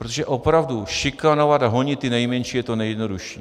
Protože opravdu, šikanovat a honit ty nejmenší je to nejjednodušší.